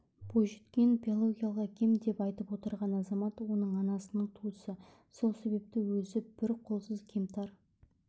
бойжеткен биологиялық әкем деп айтып отырған азамат оның анасының туысы сол себепті өзі бір қолсыз кемтар